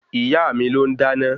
Ìyáà mi ló ń dáná